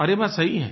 और ये बात सही है